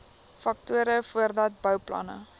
faktore voordat bouplanne